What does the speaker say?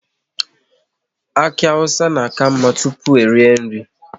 Aki awụsa na ka mma ịta tụpụ erie nri